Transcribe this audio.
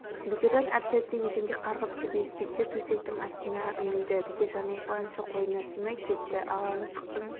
бекежан әп-сәтте еденге қарғып түсіп етбеттеп төсектің астына үңілді бекежанның қуанышы қойнына сыймай кетті ала мысықтың